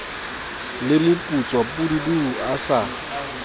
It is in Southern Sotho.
le moputswa pududu a sa